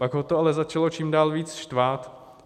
Pak ho to ale začalo čím dál víc štvát.